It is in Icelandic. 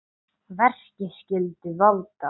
Verki skyldu valda